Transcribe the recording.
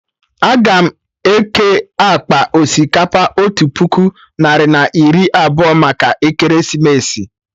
Aga m eke akpa osikapa otu puku narị na iri abụọ maka ekeresimesi